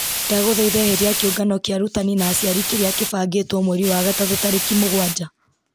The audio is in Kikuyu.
ndagũthaitha eheria kĩũngano kĩa arutani na aciari kĩrĩa kĩbangĩtwo mweri wa gatatũ tarĩki mũgwanja